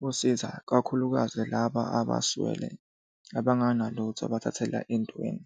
kusiza kakhulukazi laba abaswele abanganalutho abathathela entweni.